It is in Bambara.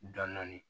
Dɔndɔni